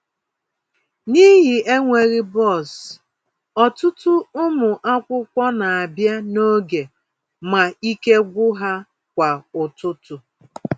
N'ihi enweghị bọs, ọtụtụ ụmụ akwụkwọ na-abịa n'oge ma ike gwụ ha kwa ụtụtụ.